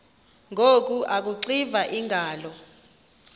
ngoku akuxiva iingalo